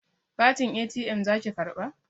Katin ATM zaki karɓa?